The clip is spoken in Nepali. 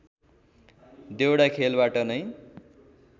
देउडा खेलबाट नै